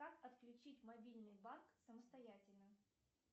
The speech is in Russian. как отключить мобильный банк самостоятельно